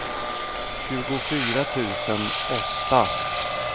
tjugofyra tusen åtta